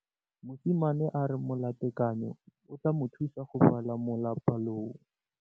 Mosimane a re molatekanyô o tla mo thusa go bala mo molapalong.